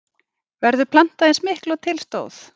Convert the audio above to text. Verður plantað eins miklu og til stóð?